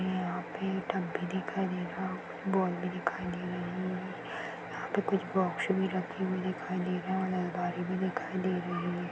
यहाँ पे डब्बे भी दिखाई दे रहा बॉल भी दिखाई दे रहे है यहाँ पे कुछ बॉक्स भी रखे हुए दिखाई दे रहे और अलमारी भी दिखाई दे रहे हैं।